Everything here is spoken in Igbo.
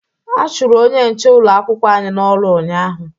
A chụrụ onye nche ụlọ akwụkwọ anyị n'ọrụ ụnyaahụ